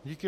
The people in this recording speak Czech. Díky.